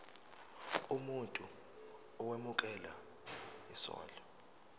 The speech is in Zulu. umuntu owemukela isondlo